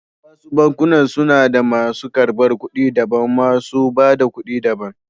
Wasu bankunan suda masu ƙarbar ƙuɗi daban, masu ba da ƙuɗi da ban.